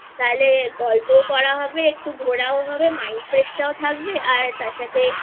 তাহলে গল্পও করা হবে একটু ঘোরাও হবে Mind Fresh তাও থাকবে আর তার সাথে